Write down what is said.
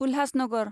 Ulhasnagar